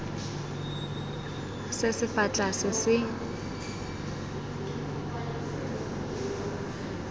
se se fa tlase se